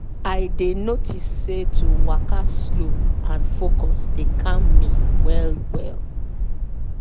i dey notice say to waka slow and focus dey calm me well well.